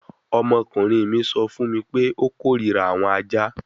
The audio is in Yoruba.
Ọmọkunrin mi sọ fun mi pe o korira awọn aja